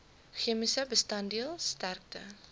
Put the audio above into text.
chemiese bestanddeel sterkte